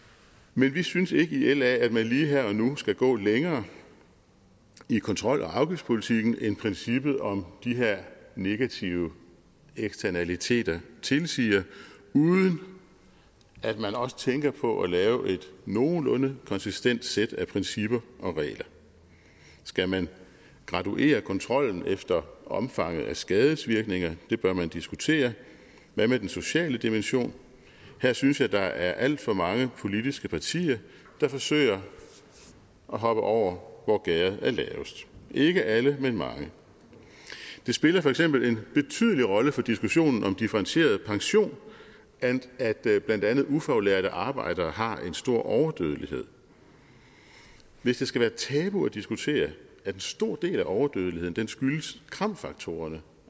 men vi synes ikke i la at man lige her og nu skal gå længere i kontrol og afgiftspolitikken end princippet om de her negative eksternaliteter tilsiger uden at man også tænker på at lave et nogenlunde konsistent sæt af principper og regler skal man graduere kontrollen efter omfanget af skadevirkninger det bør man diskutere og hvad med den sociale dimension her synes jeg der er alt for mange politiske partier der forsøger at hoppe over hvor gærdet er lavest ikke alle men mange det spiller for eksempel en betydelig rolle for diskussionen om differentieret pension at blandt andet ufaglærte arbejdere har en stor overdødelighed hvis det skal være tabu at diskutere at en stor del af overdødeligheden skyldes kram faktorerne